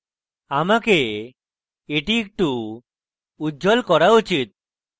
আমাকে এটি একটু উজ্জ্বল করা উচিত